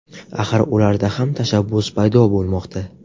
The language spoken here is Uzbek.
Axir ularda ham tashabbus paydo bo‘lmoqda.